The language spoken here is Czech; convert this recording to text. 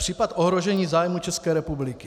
Případ ohrožení zájmů České republiky.